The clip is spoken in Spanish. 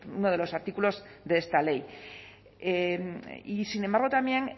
uno de los artículos de esta ley y sin embargo también